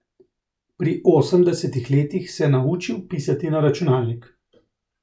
Pri osemdesetih letih se naučil pisati na računalnik.